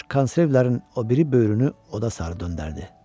Corc Konservlerin o biri böyünü oda sarı döndərdi.